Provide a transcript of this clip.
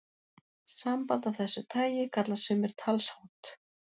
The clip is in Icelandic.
Samband af þessu tagi kalla sumir talshátt.